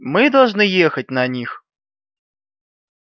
мы должны ехать на них